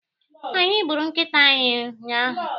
Anyị gburu nkịta ahụ ụnyaahụ.